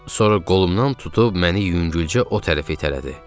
Sonra qolumdan tutub məni yüngülcə o tərəfi itələdi.